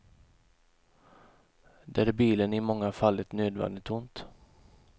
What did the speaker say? Där är bilen i många fall ett nödvändigt ont.